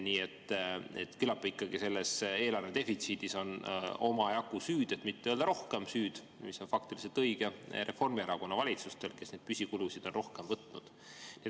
Nii et küllap selles eelarvedefitsiidis on omajagu süüd, et mitte öelda rohkem süüd, mis on faktiliselt õige, Reformierakonna valitsustel, kes neid püsikulusid on rohkem võtnud.